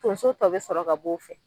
Tonso tɔ be sɔrɔ ka b'o fɛ.